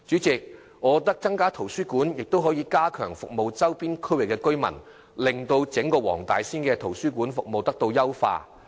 增加圖書館亦可加強服務周邊區域的居民，優化整個黃大仙的圖書館服務。